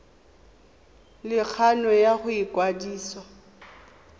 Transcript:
le kgano ya go ikwadisa